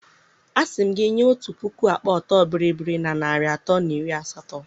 A sị m gị nye otu puku akpa ọtọ bịrịbịrị na narị atọ na iri asatọ